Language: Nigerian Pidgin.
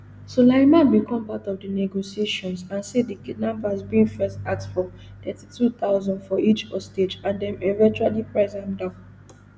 sulaiman become part of di negotiations and say di kidnappers bin first ask for thirty-two thousand for each hostage and dem eventually price am down